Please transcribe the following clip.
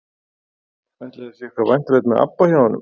Ætli að sé eitthvað væntanlegt með ABBA hjá honum?